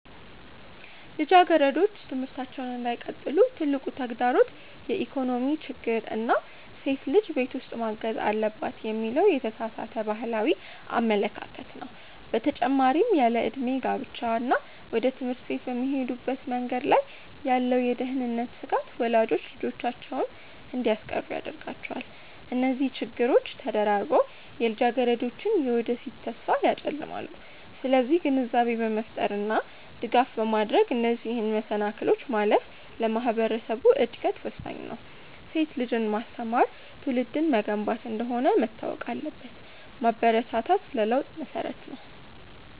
ልጃገረዶች ትምህርታቸውን እንዳይቀጥሉ ትልቁ ተግዳሮት የኢኮኖሚ ችግር እና ሴት ልጅ ቤት ውስጥ ማገዝ አለባት የሚለው የተሳሳተ ባህላዊ አመለካከት ነው። በተጨማሪም ያለዕድሜ ጋብቻ እና ወደ ትምህርት ቤት በሚሄዱበት መንገድ ላይ ያለው የደህንነት ስጋት ወላጆች ልጆቻቸውን እንዲያስቀሩ ያደርጋቸዋል። እነዚህ ችግሮች ተደራርበው የልጃገረዶችን የወደፊት ተስፋ ያጨልማሉ። ስለዚህ ግንዛቤ በመፍጠር እና ድጋፍ በማድረግ እነዚህን መሰናክሎች ማለፍ ለማህበረሰቡ እድገት ወሳኝ ነው። ሴት ልጅን ማስተማር ትውልድን መገንባት እንደሆነ መታወቅ አለበት። ማበረታታት ለለውጥ መሰረት ነው።